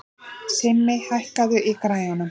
Simmi, hækkaðu í græjunum.